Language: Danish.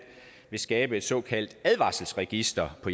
vil skabe et såkaldt advarselsregister på